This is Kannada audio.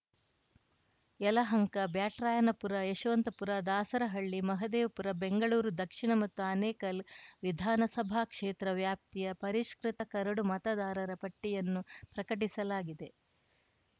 ಯಲಹಂಕ ಬ್ಯಾಟರಾಯನಪುರ ಯಶವಂತಪುರ ದಾಸರಹಳ್ಳಿ ಮಹದೇವಪುರ ಬೆಂಗಳೂರು ದಕ್ಷಿಣ ಮತ್ತ ಆನೇಕಲ್‌ ವಿಧಾನಸಭಾ ಕ್ಷೇತ್ರ ವ್ಯಾಪ್ತಿಯ ಪರಿಷ್ಕೃತ ಕರಡು ಮತದಾರರ ಪಟ್ಟಿಯನ್ನು ಪ್ರಕಟಿಸಲಾಗಿದೆ